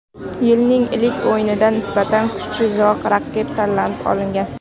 Yilning ilk o‘yinida nisbatan kuchsizroq raqib tanlab olingan.